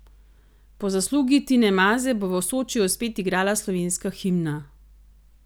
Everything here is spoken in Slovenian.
Po zaslugi Tine Maze bo v Sočiju spet igrala slovenska himna.